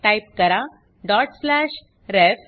type करा dot slash ref